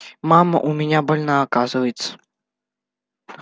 мама у меня больна оказывается